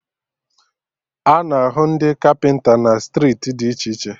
A na-ahụ ndị kapịnta na striiti dị iche iche